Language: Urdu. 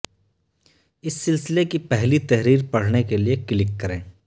اس سلسلے کی پہلی تحریر پڑھنے کے لیےکلک کریں